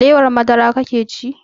Alewar madara kake ci?